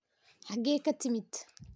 Xagee ka timid?